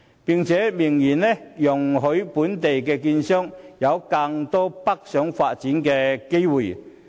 該協議更明言容許本地券商有更多北上發展的機會。